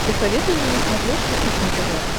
посоветуй мне на смотрешке кухня тв